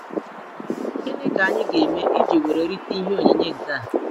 Gịnị k'anyi ga- eme iji were rite ihe onyinyé nkea?